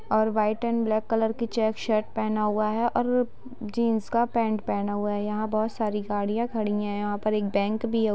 और white and black colour की check shirt पहना हुआ है और वो उ जीन्स का पैंट पहना हुआ है यहाँ बहुत साड़ी गाड़ियां खड़ी हैं यहाँ पर एक बैंक भी है।